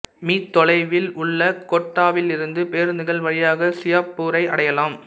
me தொலைவில் உள்ள கோட்டாவிலிருந்து பேருந்துகள் வழியாக சியோப்பூரை அடையலாம்